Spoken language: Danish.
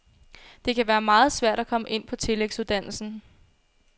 Det kan være meget svært at komme ind på tillægsuddannelsen.